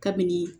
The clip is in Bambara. Kabini